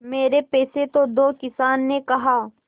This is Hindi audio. मेरे पैसे तो दो किसान ने कहा